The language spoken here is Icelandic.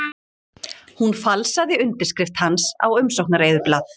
Fyrri umferð kosningarinnar lauk á föstudag